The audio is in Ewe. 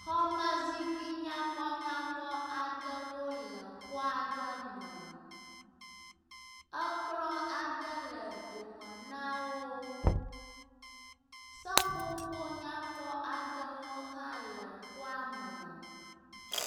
Xɔmezikpui nyakpɔnyakpɔwo le xɔ aɖe me. Ekplɔ aɖe le dome na wo. Seƒoƒo nyakpɔ aɖewo hã le xɔa me.